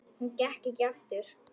Hún gekk ekki aftur.